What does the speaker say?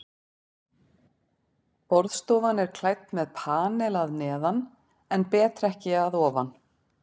Borðstofan er klædd með panel að neðan en betrekki að ofan.